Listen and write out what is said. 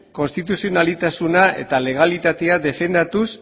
konstituzionaltasuna eta legalitatea defendatuz